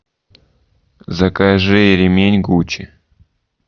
закажи ремень гуччи